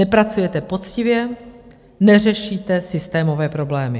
Nepracujete poctivě, neřešíte systémové problémy.